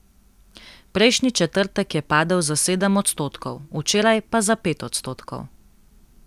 Prejšnji četrtek je padel za sedem odstotkov, včeraj pa za pet odstotkov.